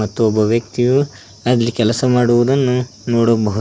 ಮತ್ತು ಒಬ್ಬ ವ್ಯಕ್ತಿಯು ಒಂದು ಕೆಲಸ ಮಾಡುವುದನ್ನು ನೋಡಬಹುದು.